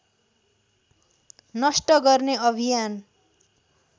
नष्ट गर्ने अभियान